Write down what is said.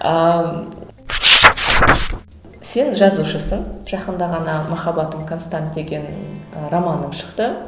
ал сен жазушысың жақында ғана махаббатым констант деген ы романың шықты